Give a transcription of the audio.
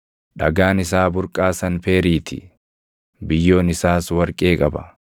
dhagaan isaa burqaa sanpeerii ti; biyyoon isaas warqee qaba.